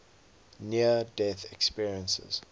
near death experiences